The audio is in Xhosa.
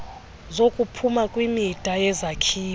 zokuphuma kwimida yezakhiwo